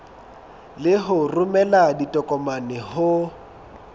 le ho romela ditokomane ho